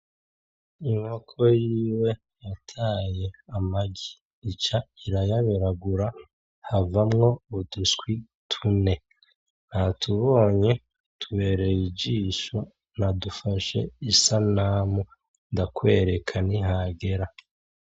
Inkoko yiwe yataye amagi, ica irayaburagura havamwo uduswi tune. Natubonye, tubereye ijisho. Nadufashe isanamu ndakwereka nihagera.